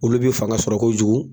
Olu bɛ fanga sɔrɔ kojugu.